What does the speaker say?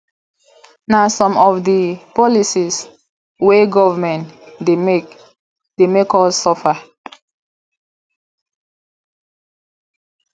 na some of di policy wey government dey make dey make us suffer